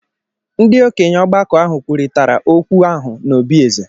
Ndị okenye ọgbakọ ahụ kwurịtara okwu ahụ n’obí eze.